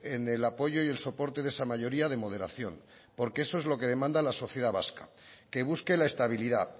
en el apoyo y el soporte de esa mayoría de moderación porque eso es lo que demanda la sociedad vasca que busque la estabilidad